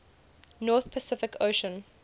north pacific ocean